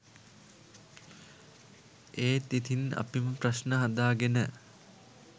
එත් ඉතින් අපිම ප්‍රශ්න හදාගෙන